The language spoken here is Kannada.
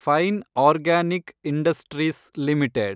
fine organic industries limited